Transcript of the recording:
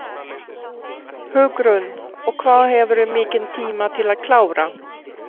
Hugrún: Og hvað hefurðu mikinn tíma til að klára?